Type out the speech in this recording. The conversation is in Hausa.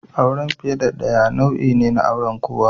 Auren fiye da ɗaya nau'in aure ne na kowa.